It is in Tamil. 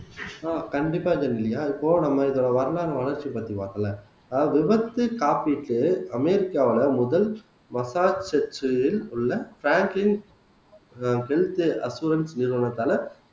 ஆஹ் கண்டிப்பா ஜெனிலியா அது போக நம்ம இதோட வரலாறு வளர்ச்சியை பத்தி பாக்கல அதாவது விபத்து காப்பீட்டு அமெரிக்காவுல முதல் ஹெல்த் நிறுவனத்தால